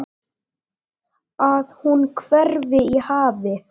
Að hún hverfi í hafið.